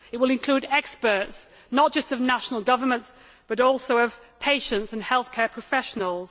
It will include experts, not just from national governments, but also from among patients and healthcare professionals.